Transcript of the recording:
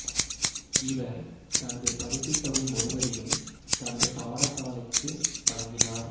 இவர் தனது பரிசுத் தொகை முழுவதையும் தனது பாடசாலைக்கு வழங்கினார்